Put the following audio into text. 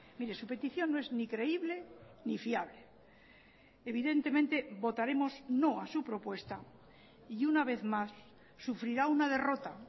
mire su petición no es ni creíble ni fiable evidentemente votaremos no a su propuesta y una vez más sufrirá una derrota